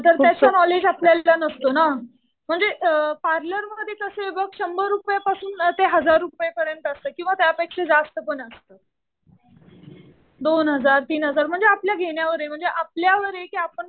हा तर त्याचा नॉलेज आपल्याला नसतो ना. म्हणजे पार्लरमध्ये कसं आहे बघ शंभर रुपयापासून ते हजार रुपयांपर्यंत असतं किंवा त्यापेक्षा जास्त पण असतं. दोन हजार, तीन हजार म्हणजे आपल्या घेण्यावर आहे. म्हणजे आपल्यावर आहे.